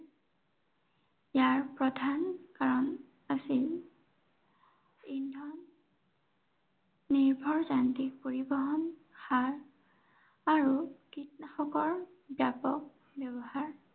ইয়াৰ প্ৰধান কাৰন আছিল ইন্ধন নিৰ্ভৰ যান্ত্ৰিক পৰিৱহন, সাৰ আৰু কীটনাশকৰ ব্য়াপক ব্য়ৱহাৰ।